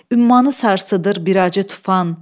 Ümmanı sarsıdır bir acı tufan.